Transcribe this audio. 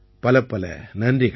பலப்பல நன்றிகள்